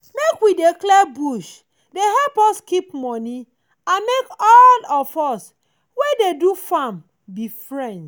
make we dey clear bush dey help us keep money and make all of us wey dey do farm be friends.